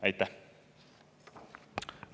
Aitäh!